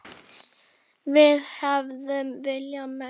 Við hefðum viljað meira.